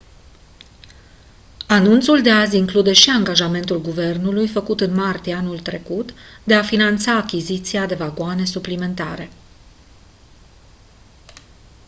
anunțul de astăzi include și angajamentul guvernului făcut în martie anul curent de a finanța achiziția de vagoane suplimentare